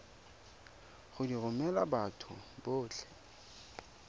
go di romela batho botlhe